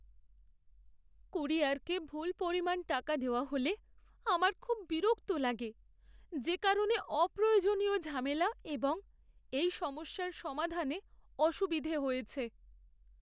কুরিয়ারকে ভুল পরিমাণ টাকা দেওয়া হলে আমার খুব বিরক্ত লাগে যেকারণে অপ্রয়োজনীয় ঝামেলা এবং এই সমস্যার সমাধানে অসুবিধে হয়েছে।